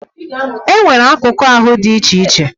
E nwere akụkụ ahụ dị iche iche.